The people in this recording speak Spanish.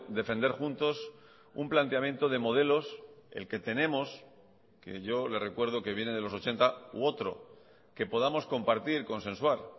defender juntos un planteamiento de modelos el que tenemos que yo le recuerdo que viene de los ochenta u otro que podamos compartir consensuar